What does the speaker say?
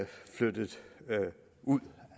flyttet ud